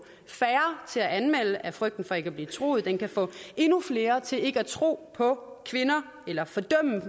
færre til at anmelde af frygten for ikke at blive troet på den kan få endnu flere til ikke at tro på kvinder eller